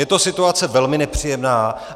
Je to situace velmi nepříjemná.